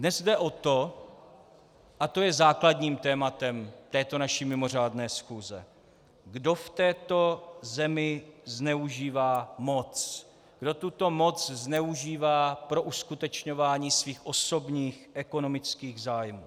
Dnes jde o to, a to je základním tématem této naší mimořádné schůze, kdo v této zemi zneužívá moc, kdo tuto moc zneužívá pro uskutečňování svých osobních ekonomických zájmů.